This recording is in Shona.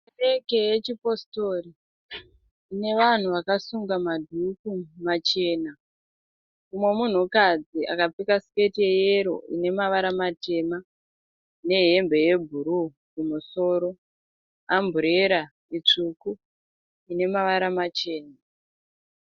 Kereke yechipositori ine vanhu vakasunga madhuku machena. Umwe munhukadzi akapfeka siketi yeyero ine mavara matema nehembe yebhuruu kumusoro. Amburera tsvuku ine mavara machena.